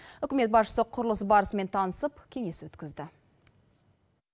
үкімет басшысы құрылыс барысымен танысып кеңес өткізді